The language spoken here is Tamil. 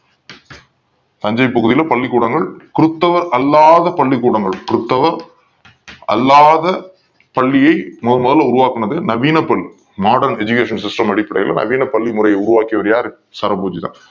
தஞ்சை பகுதியில் பள்ளிக்கூடங்கள் கிறிஸ்துவ அல்லாத பள்ளிக்கூடங்கள் கிறிஸ்துவ அல்லாத பள்ளியை முதன்முதல உருவாக்கினது நவீன பள்ளி Modern Educational System அடிப்படையில நவீன பள்ளிகளை உருவாக்குனது சரபோஜி தான்